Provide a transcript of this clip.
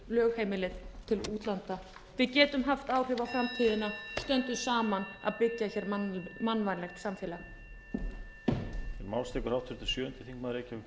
lögheimilið til útlanda við getum haft áhrif á framtíðina stöndum saman að því að byggja mannvænlegt samfélag